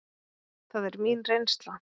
Það er mín reynsla.